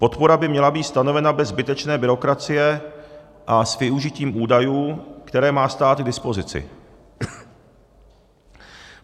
Podpora by měla být stanovena bez zbytečné byrokracie a s využitím údajů, které má stát k dispozici.